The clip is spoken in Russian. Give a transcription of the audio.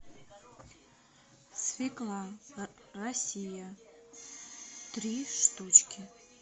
свекла россия три штучки